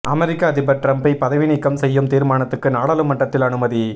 அமெரிக்க அதிபர் டிரம்பை பதவி நீக்கம் செய்யும் தீர்மானத்துக்கு நாடாளுமன்றத்தில் அனுமதி